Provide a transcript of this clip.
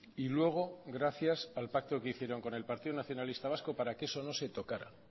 y luego gracias al pacto que hicieron con el partido nacionalista vasco para que eso no se tocara